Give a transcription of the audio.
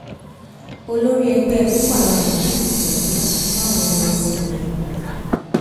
olórí ẹgbẹ boko haram méjì ti sọrèǹda fáwọn ọmọ ogun ilé wa